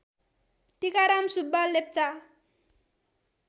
Tikaram Subba Lepcha